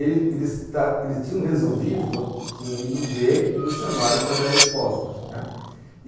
Ele eles ele tinham resolvido, tinham ido ver e nos chamaram para dar resposta, né?